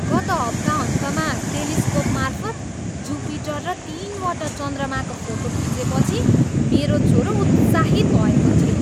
गत हप्ताहन्तमा टेलिस्कोपमार्फत जुपिटर र तिनवटा चन्द्रमाको फोटो खिचेपछि मेरो छोरो उत्साहित भएको थियो।